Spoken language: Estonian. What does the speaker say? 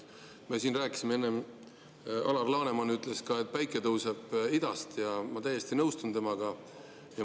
Me siin rääkisime enne, Alar Laneman ütles ka, et päike tõuseb idast, ja ma täiesti nõustun temaga.